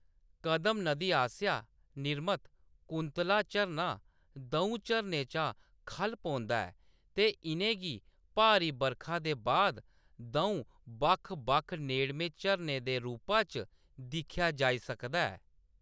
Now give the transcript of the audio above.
कदम नदी आसेआ निर्मित, कुंतला झरना द'ऊं चरणें चा खʼल्ल पौंदा ऐ ते इʼनें गी भारी बरखा दे बाद द'ऊं बक्ख-बक्ख नेड़में झरनें दे रूपा च दिक्खेआ जाई सकदा ऐ।